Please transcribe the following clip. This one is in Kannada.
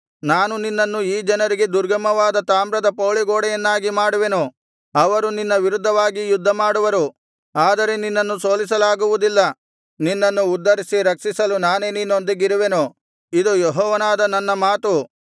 ನಾನು ನಿನ್ನನ್ನು ಈ ಜನರಿಗೆ ದುರ್ಗಮವಾದ ತಾಮ್ರದ ಪೌಳಿಗೋಡೆಯನ್ನಾಗಿ ಮಾಡುವೆನು ಅವರು ನಿನ್ನ ವಿರುದ್ಧವಾಗಿ ಯುದ್ಧಮಾಡುವರು ಆದರೆ ನಿನ್ನನ್ನು ಸೋಲಿಸಲಾಗುವುದಿಲ್ಲ ನಿನ್ನನ್ನು ಉದ್ಧರಿಸಿ ರಕ್ಷಿಸಲು ನಾನೇ ನಿನ್ನೊಂದಿಗಿರುವೆನು ಇದು ಯೆಹೋವನಾದ ನನ್ನ ಮಾತು